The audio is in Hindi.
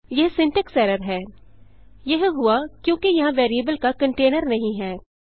यह सिंटैक्स एरर है यह हुआ क्योंकि यहाँ वेरिएबल का कंटेनर नहीं है